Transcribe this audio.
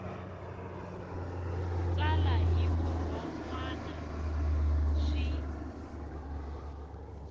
tsala hi vurhon wana swi